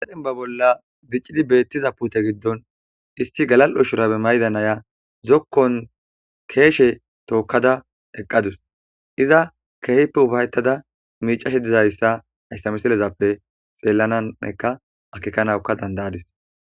Sedenba bolla diccidi beettiza pute giddon isti galal7o shurabe maydanaya zokkon keeshe tookkada eqqadus iza keehippe ufayttada miicashe dizayssa ayssamiselezappe xeellananeka akekanawuka dandayadis.